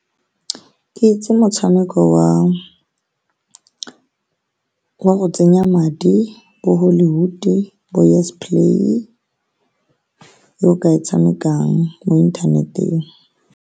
Ke itse motshameko wa go tsenya madi, bo-Hollywood, bo-Yesplay, yo o ka e tshamekang mo inthaneteng.